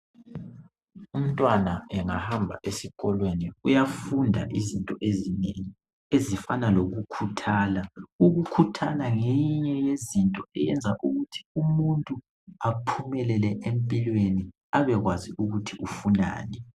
Umntwana engahamba esikolweni ,uyafunda izinto ezinengi . Ezifana lokukhuthala ,ukukhuthala ngeyinye yezinto eyenza ukuthi umuntu aphumelele empilweni .Abekwazi ukuthi ufunani.